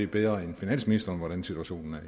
bedre end finansministeren hvordan situationen er